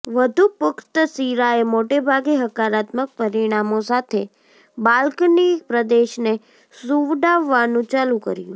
વધુ પુખ્ત સિરાએ મોટેભાગે હકારાત્મક પરિણામો સાથે બાલ્કની પ્રદેશને સુવડાવવાનું ચાલુ કર્યું